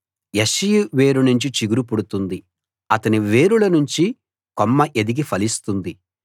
యెష్షయి వేరు నుంచి చిగురు పుడుతుంది అతని వేరుల నుంచి కొమ్మ ఎదిగి ఫలిస్తుంది